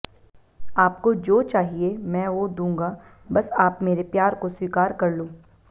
आपको जो चहिए में वो दूंगा बस आप मेरे प्यार को स्वीकार कर लो